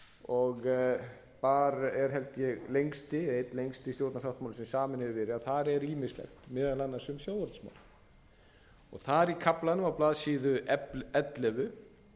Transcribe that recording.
og þar er held ég einn lengsti stjórnarsáttmáli sem saminn hefur verið þar er ýmislegt meðal annars um sjávarútvegsmál þar í kaflanum á blaðsíðu ellefu